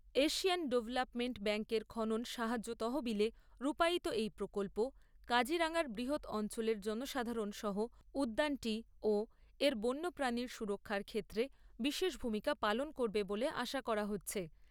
Asian development ব্যাঙ্কের খনন সাহায্য তহবিলে রূপায়িত এই প্রকল্প কাজিরাঙ্গার বৃহৎ অঞ্চলের জনসাধারণ সহ উদ্যানটি ও বন্য প্রাণীর সুরক্ষার ক্ষেত্রে বিশেষ ভূমিকা পালন করবে বলে আশা করা হচ্ছে।